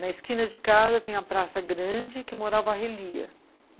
Na esquina de casa, tem a Praça Grande, que morava a Relia.